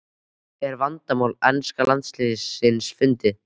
Er vandamál enska landsliðsins fundið?